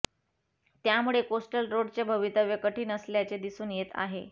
त्यामुळे कोस्टल रोडचे भवितव्य कठीण असल्याचे दिसून येत आहे